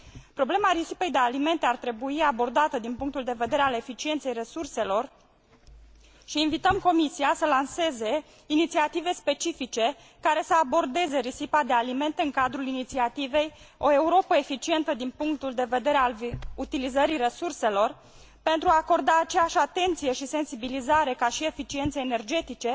Problema risipei de alimente ar trebui abordată din punctul de vedere al eficienței resurselor și invităm Comisia să lanseze inițiative specifice, care să abordeze risipa de alimente în cadrul inițiativei O Europă eficientă din punctul de vedere al utilizării resurselor pentru a i acorda aceeași atenție și sensibilizare ca și eficienței energetice,